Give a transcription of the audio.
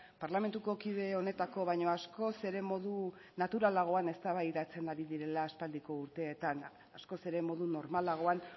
parlamentuko kide honetako baino askoz ere modu naturalagoan eztabaidatzen ari direla aspaldiko urteetan askoz ere modu normalagoan